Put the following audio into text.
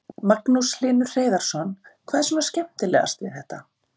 Magnús Hlynur Hreiðarsson: Hvað er svona skemmtilegast við þetta?